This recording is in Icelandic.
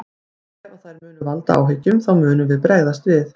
Ef að þær munu valda áhyggjum þá munum við bregðast við.